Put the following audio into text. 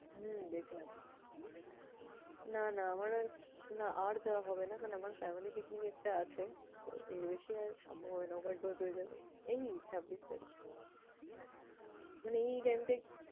হম দেখলাম। না না আমার আর না আর যাওয়া হবে না। কারণ আমার family picnic একটা আছে। তো এর বেশি আর সম্ভব হবে না over dose হয়ে যাবে। এই ছাব্বিশ তারিখ মানে এই time টা একটু